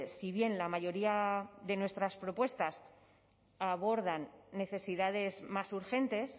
si bien la mayoría de nuestras propuestas abordan necesidades más urgentes